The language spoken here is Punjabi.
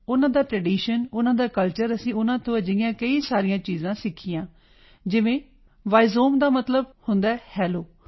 ਉਨ੍ਹਾਂ ਦਾ ਟ੍ਰੈਡੀਸ਼ਨ ਉਨ੍ਹਾਂ ਦਾ ਕਲਚਰ ਅਸੀਂ ਉਨ੍ਹਾਂ ਤੋਂ ਅਜਿਹੀਆਂ ਕਈ ਸਾਰੀਆਂ ਚੀਜ਼ਾਂ ਸਿੱਖੀਆਂ ਜਿਵੇਂ ਵਾਈਜ਼ੋਮ ਦਾ ਮਤਲਬ ਹੁੰਦਾ ਹੈ ਹੈਲੋ